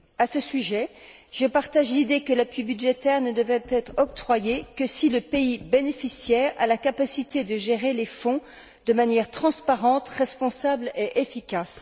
À ce sujet, je partage l'idée que l'appui budgétaire ne devrait être octroyé que si le pays bénéficiaire a la capacité de gérer les fonds de manière transparente, responsable et efficace.